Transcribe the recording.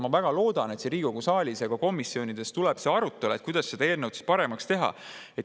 Ma väga loodan, et siin Riigikogu saalis ja komisjonides tuleb see arutelu, kuidas seda eelnõu paremaks teha.